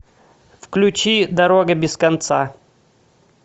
включи дорога без конца